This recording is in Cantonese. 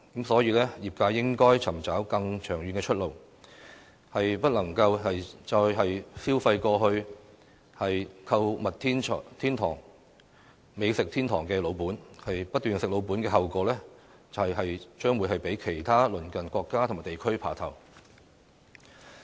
所以，業界應該尋找更長遠的出路，不能再消費過去"購物天堂"、"美食天堂"的老本，不斷"食老本"的後果，就是將會被其他鄰近國家和地區"爬頭"。